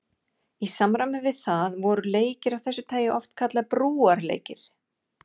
Í samræmi við það voru leikir af þessu tagi oft kallaðir brúarleikir.